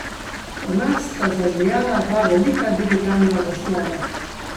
V nas sta zazijala dva velika digitalna zaslona.